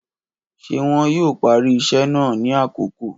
Ṣe wọn yoo pari iṣẹ naa ni akoko?.